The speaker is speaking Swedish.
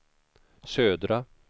södra